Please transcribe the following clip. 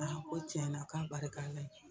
Ala ko tiɲɛna k'a barika Ala ye.